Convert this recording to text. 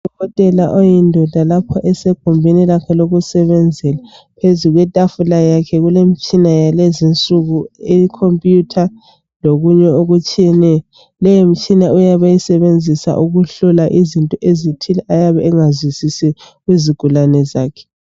udokotela oyindoda lapho esegumbini lakhe lokusebenzela phezu kwetafula yakhe kulemitshina yalezinsuku i computer lokunye okutshiyeneyo leyi mitshina uyabe eyisebenzisa ukuhlola izinto ezithile ayabe engazizwisisi kuzigulane zakhe